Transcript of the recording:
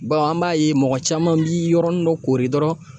an b'a ye mɔgɔ caman bi yɔrɔnin dɔ kori dɔrɔn